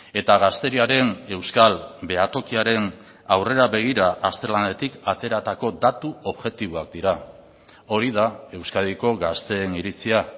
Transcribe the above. eta gazteriaren euskal behatokiaren aurrera begira azterlanetik ateratako datu objektiboak dira hori da euskadiko gazteen iritzia